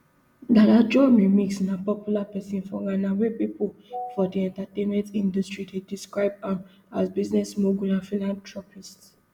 dada joe remix na popular pesin for ghana wia pipo for di entertainment industry dey describe am as business mogul and philanthropist